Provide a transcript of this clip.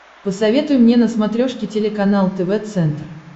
посоветуй мне на смотрешке телеканал тв центр